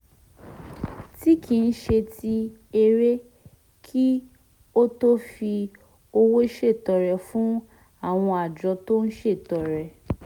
tí kì í ṣe ti èrè kí ó tó fi owó ṣètọrẹ fún àwọn àjọ tó ń ṣètọrẹ